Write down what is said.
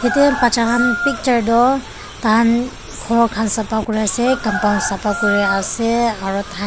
yate baccha khan picture toh ta khan ghor khan safa kuri ase compound safa kuri ase aru ta khan.